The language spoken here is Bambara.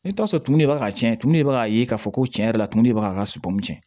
I bɛ t'a sɔrɔ tumu de b'a tiɲɛ tumu de bɛ k'a ye k'a fɔ ko tiɲɛ yɛrɛ la tumu de b'a ka sɔmi